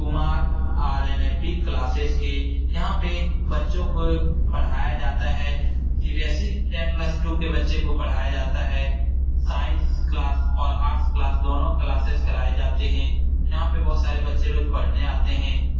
Kumar RNAP. Classes के यहाँ पे बच्चो को पढ़ाया जाता है सी.बी.एस.ई. टेन प्लस टू के बच्चे को पढ़ाया जाता है साइंस क्लास और आर्ट्स क्लास दोनों क्लासेज कराया जाता हैं यहाँ पर बहुत सारे बच्चे रोज पढ़ने आते है ।